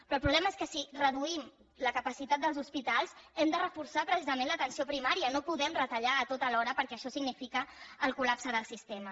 però el problema és que si reduïm la capacitat dels hospitals hem de reforçar precisament l’atenció primària no podem retallar ho tot alhora perquè això significa el col·lapse del sistema